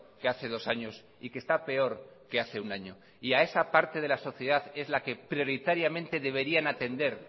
que hace dos años y que está peor que hace un año y a esa parte de la sociedad es la que prioritariamente deberían atender